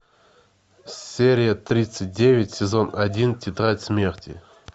серия тридцать девять сезон один тетрадь смерти